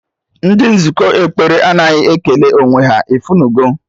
Ndị nzukọ ekpere anaghị ekele onwe ha, ifunugo